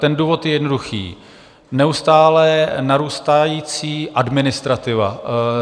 Ten důvod je jednoduchý, neustále narůstající administrativa.